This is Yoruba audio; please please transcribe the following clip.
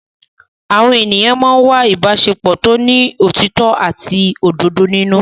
Àwọn ènìyàn máa ń wá ìbáṣepọ̀ tó ní òtítọ́ àti òdodo nínú.